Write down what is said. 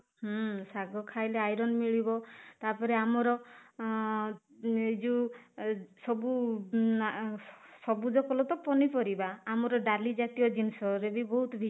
ହୁଁ ଶାଗ ଖାଇଲେ iron ମିଳିବ ତାପରେ ଆମର ଅଂ ଏଇ ଯୋଉ ସବୁ ସବୁଜ ଫଳ ତ ପନିପରିବା ଆମର ଡାଲି ଜାତୀୟ ଜିନିଷରେ ବହୁତ